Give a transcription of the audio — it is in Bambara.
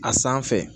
A sanfɛ